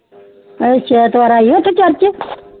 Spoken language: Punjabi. ਆਹ ਚੇਤਵਾਰ ਆਈ ਆ ਕੇ ਕਰ ਕੇ